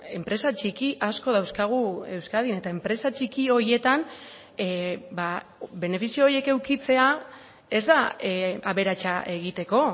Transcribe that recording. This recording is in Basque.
enpresa txiki asko dauzkagu euskadin eta enpresa txiki horietan benefizio horiek edukitzea ez da aberatsa egiteko